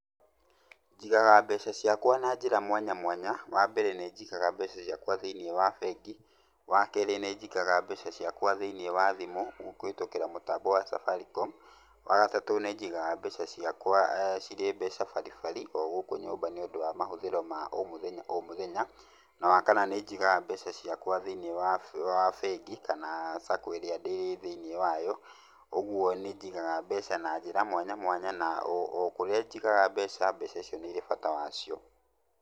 Njigaga mbeca ciakwa na njĩra mwanya mwanya. Wa mbere, nĩ njigaga mbeca ciakwa thĩiniĩ wa bengi. Wa kerĩ, nĩ njigaga mbeca ciakwa thĩiniĩ wa thimũ kũhĩtũkĩra mũtambo wa Safaricom. Wa gatatũ, nĩ njigaga mbeca ciakwa cirĩ mbeca baribari o gũkũ nyũmba, nĩũndũ wa mahũthĩro ma o mũthenya o mũthenya. Na wa kana, nĩ njigaga mbeca ciakwa thĩiniĩ wa bengi, kana SACCO ĩrĩa ndĩ thĩiniĩ wayo. Ũguo nĩ njigaga mbeca na njĩra mwanya mwanya na o o kuria njigaga mbeca, mbeca icio nĩ irĩ bata wacio.